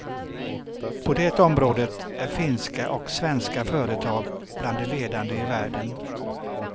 På det området är finska och svenska företag bland de ledande i världen.